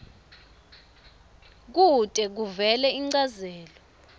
kute kuvele inchazelo